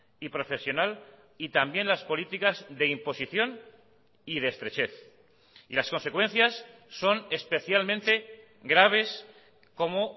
y profesional y también las políticas de imposición y de estrechez y las consecuencias son especialmente graves como